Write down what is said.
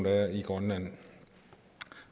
er i grønland